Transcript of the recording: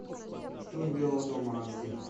штурм белого дома аш ди